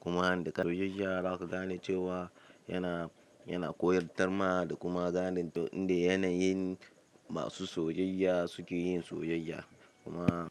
Kuma da soyayya za ka gane cewa yana, yana koyar tarma da kuma ganin yanda yanayin masu soyayya suke yin soyayya. Kuma.